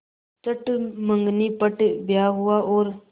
चट मँगनी पट ब्याह हुआ और